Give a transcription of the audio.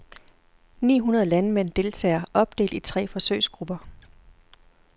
Ni hundrede landmænd deltager, opdelt i tre forsøgsgrupper.